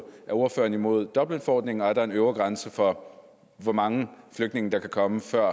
er ordføreren imod dublinforordningen og er der en øvre grænse for hvor mange flygtninge der kan komme før